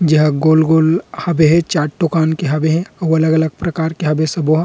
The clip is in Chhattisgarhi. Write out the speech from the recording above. जेहा गोल-गोल हबे हे चार ठो कान दुकान के हबे हे अउ अलग-अलग प्रकार के हबे सबो हा।